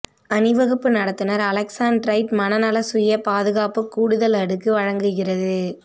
அணிவகுப்பு நடத்துனர் அலெக்ஸாண்ட்ரைட் மனநல சுய பாதுகாப்பு கூடுதல் அடுக்கு வழங்குகிறது